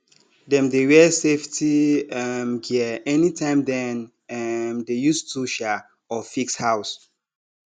dem dey wear safety um gear anytime dem um dey use tool um or fix house